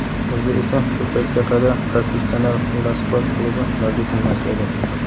Bizda esa shu paytga qadar professional velosport klubi mavjud emas edi.